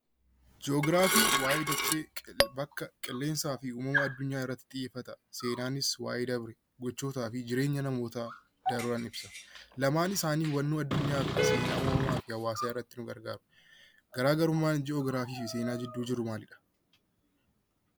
Ji'oogiraafiin waa'ee dachee, qilleensaa fi uumama adunyaa irratti xiyyeeffata. Seenaanis waa'ee darbe gocha namootaa darban ibsa. Lamaan isaanii adunyaaf seenaa uumamaaf irratti nu gargaaru. Garaagarummaan ji'oogiraafii fi seenaa gidduu jiru maalidha?